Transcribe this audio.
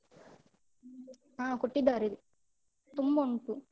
ಹಾ ಕೊಟ್ಟಿದ್ದಾರೆ, ತುಂಬ ಉಂಟು.